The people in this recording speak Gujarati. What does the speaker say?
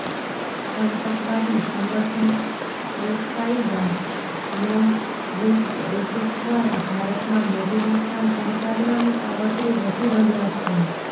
આતંકવાદી સંગઠન અલકાયદા લોન વુલ્ફ એટેક દ્વારા ભારતમાં મોટુ નુકસાન પહોંચાડવાનું કાવત્રું રચી રહ્યા છે